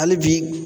Hali bi